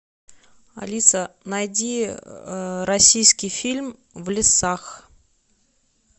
алиса найди российский фильм в лесах